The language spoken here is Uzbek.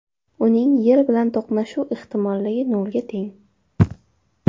Uning Yer bilan to‘qnashuv ehtimolligi nolga teng.